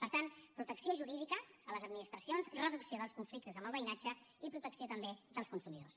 per tant protecció jurídica a les administracions reducció dels conflictes amb el veïnatge i protecció també dels consumidors